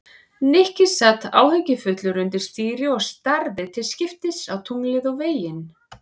Nikki sat áhyggjufullur undir stýri og starði til skiptist á tunglið og veginn.